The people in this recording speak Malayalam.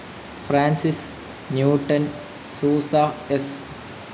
Francis Newton Souza, S.